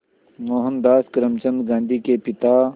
मोहनदास करमचंद गांधी के पिता